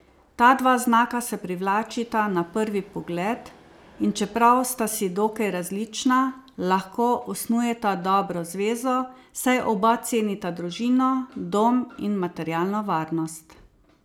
Ta dva znaka se privlačita na prvi pogled, in čeprav sta si dokaj različna, lahko osnujeta dobro zvezo, saj oba cenita družino, dom in materialno varnost.